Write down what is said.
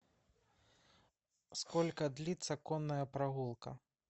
сколько длится конная прогулка